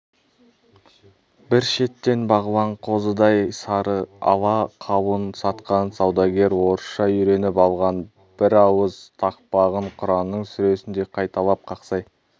бір шеттен бағлан қозыдай сары ала қауын сатқан саудагер орысша үйреніп алған бірауыз тақпағын құранның сүресіндей қайталап қақсай